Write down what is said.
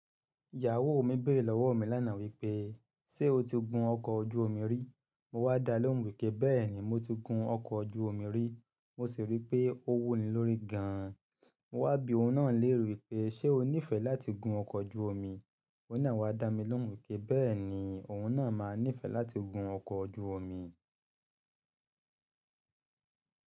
Ìyàwó mi béèrè lọ́wọ́ mi lánàá wípé, "ṣé o ti gun ọkọ̀ ojú omi rí?" Mo wá dalóhùn wípé, "béèni mo ti gun ọkọ̀ ojú omi rí". Mo sì rí pé ó wù ní lórí gan. Mo wá bi òun náà lére wípé, "ṣé o nífẹ̀ẹ́ láti gun ọkọ̀ ojú omi?" Óun naa wá dá mi lóhùn wípé, "béèni òun náà máa nífẹ̀ẹ́ láti gun ọkọ̀ ojú omi".